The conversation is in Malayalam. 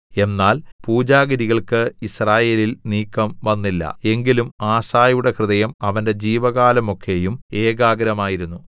എന്നാൽ പൂജാഗിരികൾക്ക് യിസ്രായേലിൽ നീക്കംവന്നില്ല എങ്കിലും ആസയുടെ ഹൃദയം അവന്റെ ജീവകാലമൊക്കെയും ഏകാഗ്രമായിരുന്നു